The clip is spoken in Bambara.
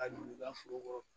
Ka don u ka foro kɔrɔ